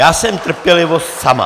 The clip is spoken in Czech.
Já jsem trpělivost sama.